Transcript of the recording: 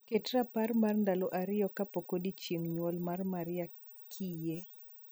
Ket rapar mar ndalo ariyo kapok odiechieng' nyuol mar Maria kiyie.